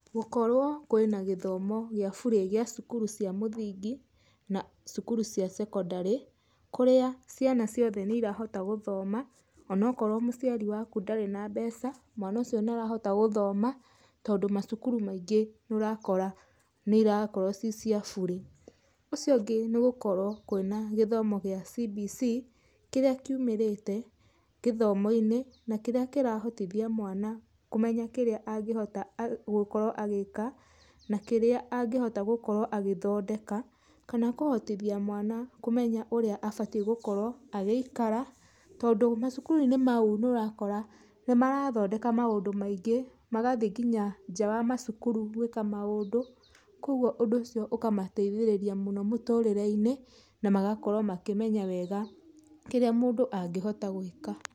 Gũkorwo kwĩna gĩthoma gĩa bure gĩa cukuru cia mũthingi na cukuru cia cekondarĩ, kũrĩa ciana ciothe nĩ irahota gũthoma onokorwo mũciari waku ndarĩ na mbeca, mwana ũcio nĩ arahota gũthoma tondũ macukuru maingĩ nĩ ũrakora nĩ irakorwo ci cia bure. Ũcio ũngĩ nĩ gũkorwo kwĩna gĩthomo kĩa CBC, kĩrĩa kiumĩrĩte gĩthomo-inĩ, na kĩrĩa kĩrahotithia mwana kũmenya kĩrĩa angĩhota gũkorwo agĩka na kĩrĩa angĩhota gũkorwo agĩthondeka, kana kũhotithia mwana kũmenya ũrĩa abatie gũkorwo agĩikara, tondũ macukuru-inĩ mau nĩ ũrakora nĩ marathondeka maũndũ maingĩ, magathiĩ nginya nja wa macukuru gwĩka maũndũ, kogwo ũndũ ũcio ũkamateithĩrĩria mũno mũtũrĩre-inĩ, na magakorwo makĩmenya wega kĩrĩa mũndũ angĩhota gwĩka.